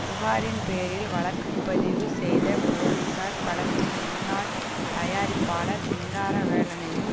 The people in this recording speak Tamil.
புகாரின் பேரில் வழக்கு பதிவு செய்த போலீஸார் படத்தின் முன்னாள் தயாரிப்பாளர் சிங்காரவேலனையும்